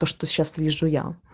то что сейчас вижу я